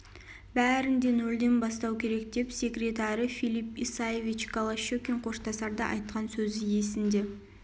бәрін де нөлден бастау керек деп секретары филип исаевич голощекин қоштасарда айтқан сөзі есінде